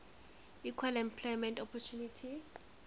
equal employment opportunity